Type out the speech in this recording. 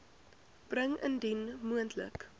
bring indien moontlik